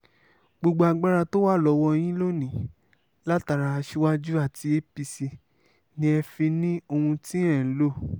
gbogbo agbára tó wà lọ́wọ́ yín lónìí látara aṣíwájú àti apc ni ẹ fi ní ohun tí ẹ̀ ń lò